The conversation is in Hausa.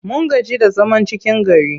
Mun gaji da zaman cikin gari.